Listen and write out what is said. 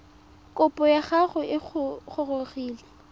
kopo ya gago e gorogile